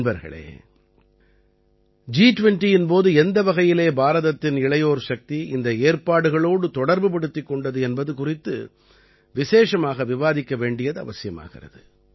நண்பர்களே ஜி20இன் போது எந்த வகையிலே பாரதத்தின் இளையோர் சக்தி இந்த ஏற்பாடுகளோடு தொடர்புபடுத்திக் கொண்டது என்பது குறித்து விசேஷமாக விவாதிக்க வேண்டியது அவசியமாகிறது